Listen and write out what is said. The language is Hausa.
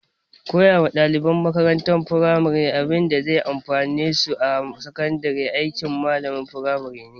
Koya wa ɗaliban makarantar firamare abinda zai amfane su a sakandare aikin malamalan firamare ne